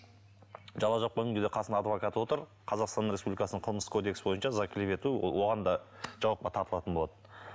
жала жапқан адвокаты отыр қазақстан республикасының қылмыстық кодексі бойынша за клевету оған да жауапқа тартылатын болады